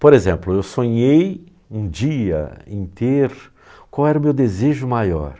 Por exemplo, eu sonhei um dia em ter... Qual era o meu desejo maior?